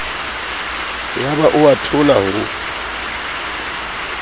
yaba o a thola ho